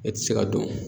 E ti se ka don